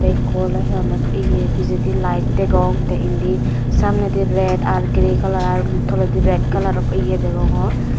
ekko oley he honne ye pijedi light degong te indi samnedi red ar grey kalaror ar toledi red kalaror ye degongor.